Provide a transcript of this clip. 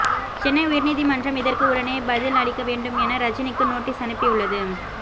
சென்னை உயர்நீதி மன்றம் இதற்கு உடனே பதில் அளிக்க வேண்டும் என ரஜினிக்கு நோட்டிஸ் அனுப்பியுள்ளது